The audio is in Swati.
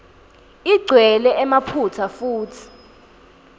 igcwele emaphutsa futsi